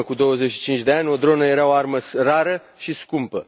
În urmă cu 25 de ani, o dronă era o armă rară și scumpă.